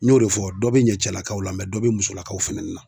N y'o de fɔ dɔ be ɲɛ cɛlakaw la dɔ be musolakaw fɛnɛ na.